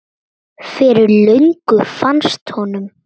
Fyrir löngu fannst honum.